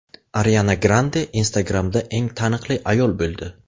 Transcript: Ariana Grande Instagram’da eng taniqli ayol bo‘ldi.